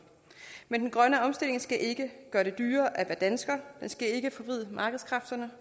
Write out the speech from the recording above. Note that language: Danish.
men den grønne omstilling skal ikke gøre det dyrere at være dansker den skal ikke forvride markedskræfterne